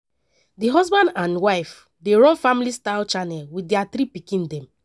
di husband and wife dey run family style channel wit dia three pikin dem.